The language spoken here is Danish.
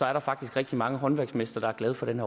er der faktisk rigtig mange håndværksmestre der er glade for den